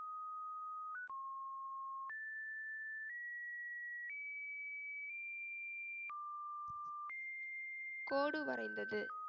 கோடு வரைந்தது.